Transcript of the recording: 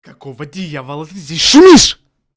какого дьявола ты здесь шумишь